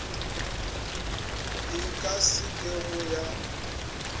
e ka se kego ya